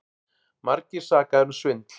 Margir sakaðir um svindl